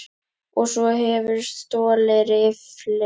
Og svo hefurðu stolið riffli!